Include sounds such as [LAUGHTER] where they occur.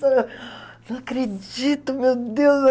[UNINTELLIGIBLE] Não acredito, meu Deus.